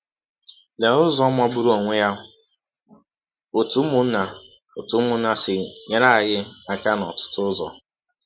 Lee ụzọ magbụrụ ọnwe ya ‘ ọ̀tụ ụmụnna ọ̀tụ ụmụnna ’ si nyere anyị aka n’ọtụtụ ụzọ!